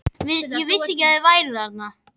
Ég vissi ekki að þú værir þarna.